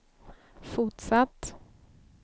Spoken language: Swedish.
fortsatt